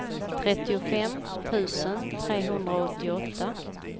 trettiofem tusen trehundraåttioåtta